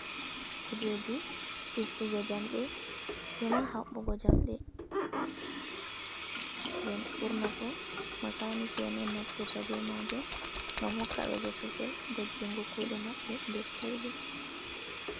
Kuje ji fistugo jamde ema haɓɓugo jamɗe. nden ɓurnafu makaaniki en on naftirta be majum, ngam hokkaɓe bososel doggingo kuɗe maɓɓe nder koiɗum.